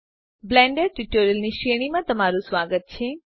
Blender tutorials ની શ્રેણીમાં તમારું સ્વાગત છે